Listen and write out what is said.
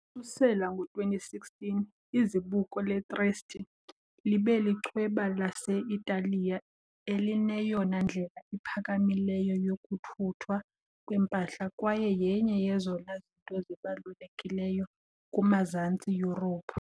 Ukususela ngo-2016, izibuko le-Trieste libe lichweba lase-Italiya elineyona ndlela iphakamileyo yokuthuthwa kwempahla kwaye yenye yezona zinto zibalulekileyo kumazantsi Yurophu .